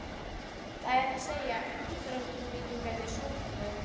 Það er að segja, útrásarvíkingarnir svokölluðu?